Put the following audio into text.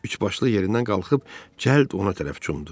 Üçbaşlı yerindən qalxıb cəld ona tərəf cumdu.